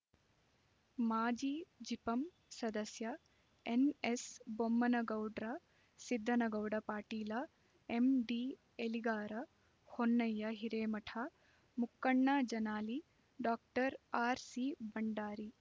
ಮಾಜಿಜಿಪಂ ಸದಸ್ಯ ಎನ್ಎಸ್ಬೊಮ್ಮನಗೌಡ್ರ ಸಿದ್ದನಗೌಡ ಪಾಟೀಲ ಎಂಡಿಎಲಿಗಾರ ಹೊನ್ನಯ್ಯ ಹಿರೇಮಠ ಮುಕ್ಕಣ್ಣ ಜನಾಲಿ ಡಾಕ್ಟರ್ ಆರ್ಸಿ ಬಂಡಾರಿ